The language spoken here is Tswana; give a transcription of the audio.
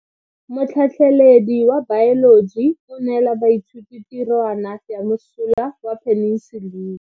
Motlhatlhaledi wa baeloji o neela baithuti tirwana ya mosola wa peniselene.